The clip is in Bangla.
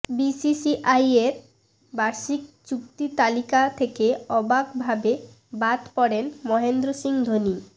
বিসিসিআইয়ের বার্ষিক চুক্তি তালিকা থেকে অবাকভাবে বাদ পড়েন মহেন্দ্র সিং ধোনি